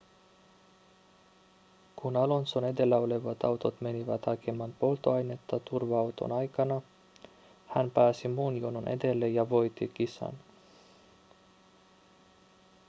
kun alonson edellä olevat autot menivät hakemaan polttoainetta turva-auton aikana hän pääsi muun jonon edelle ja voitti kisan